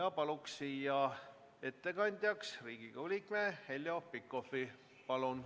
Palun ettekandjaks Riigikogu liikme Heljo Pikhofi!